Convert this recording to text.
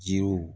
Jiriw